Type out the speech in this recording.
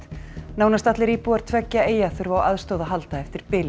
nánast allir íbúar tveggja eyja þurfa á aðstoð að halda eftir